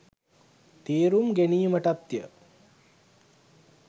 තේරුම් ගැනීමටත්ය.